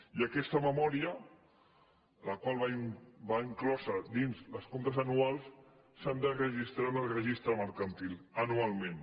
i aquesta memòria la qual va inclosa dins dels comp·tes anuals s’ha de registrar en el registre mercantil anualment